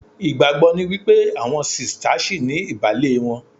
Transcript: Ìgbàgbọ́ ni wípé àwọn sista ṣìní ìbàlé wọn